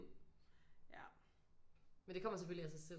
Ja men det kommer selvfølgelig af sig selv